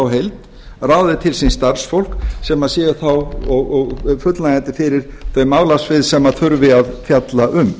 heild ráði til sín starfsfólk sem sé þá fullnægjandi fyrir þau málasvið sem þurfi að fjalla um